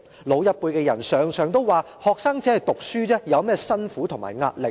老一輩的人常常都說'學生只是讀書而已，有甚麼辛苦和壓力？